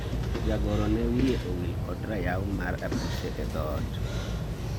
jagoro ne wiye owil kod rayaw mar apise e dhoot